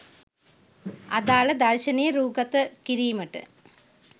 අදාල දර්ශනය රූගත කිරීමට